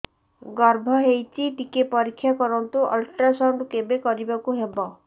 ଗର୍ଭ ହେଇଚି ଟିକେ ପରିକ୍ଷା କରନ୍ତୁ ଅଲଟ୍ରାସାଉଣ୍ଡ କେବେ କରିବାକୁ ହବ